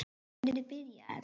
Hvernig byrjaði þetta?